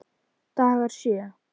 Dagar sjö